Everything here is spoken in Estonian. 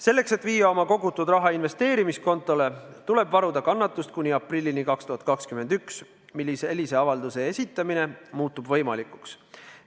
Selleks, et viia oma kogutud raha investeerimiskontole, tuleb varuda kannatust kuni aprillini 2021, mil sellise avalduse esitamine muutub võimalikuks.